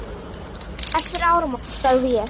Eftir áramót sagði ég.